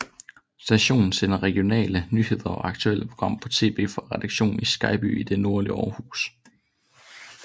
Stationen sender regionale nyheder og aktuelle programmer på tv fra redaktionen i Skejby i det nordlige Aarhus